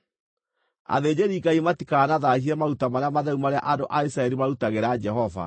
Athĩnjĩri-Ngai matikanathaahie maruta marĩa matheru marĩa andũ a Isiraeli marutagĩra Jehova,